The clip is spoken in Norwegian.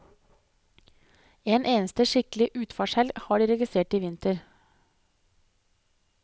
En eneste skikkelig utfartshelg har de registrert i vinter.